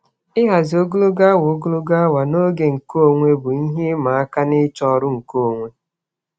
Ịhazi ogologo awa ogologo awa na oge nkeonwe bụ ihe ịma aka n'ịchọ ọrụ nkeonwe.